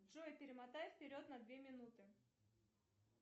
джой перемотай вперед на две минуты